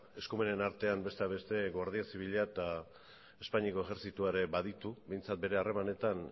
eskumenen artean besteak beste guardia zibila eta espainiako ejertzitoa ere baditu behintzat bere harremanetan